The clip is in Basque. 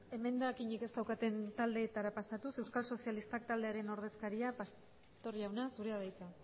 emendakinik ez daukaten taldeetara pasatuz euskal sozialista taldearen ordezkaria pastor jauna zurea da hitza